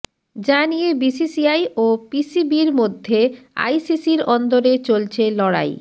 যা নিয়ে বিসিসিআই ও পিসিবির মধ্যে আইসিসির অন্দরে চলছে লড়াই